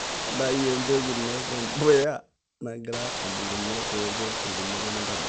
ntayu embeku ino tembuya nagira abulunye nipik enkumoto nintobira